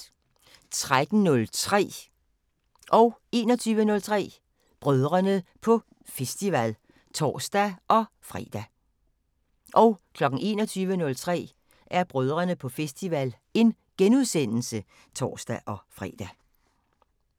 13:03: Brødrene på festival (tor-fre) 21:03: Brødrene på festival *(tor-fre)